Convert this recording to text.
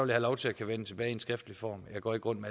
lov til at vende tilbage i skriftlig form jeg går ikke rundt